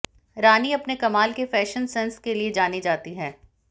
रानी अपने कमाल के फैशन सेंस के लिए जानी जाती हैं